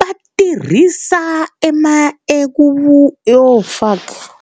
va tirhisa .